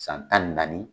San tan ni naani